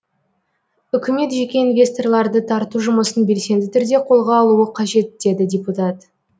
үкімет жеке инвесторларды тарту жұмысын белсенді түрде қолға алуы қажет деді депутат